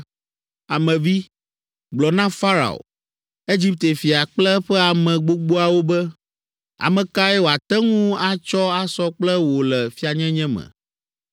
“Ame vi, gblɔ na Farao, Egipte fia kple eƒe ame gbogboawo be, “Ame kae woate ŋu atsɔ asɔ kple wò le fianyenye me?